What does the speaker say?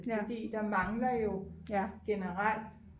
fordi der mangler jo generelt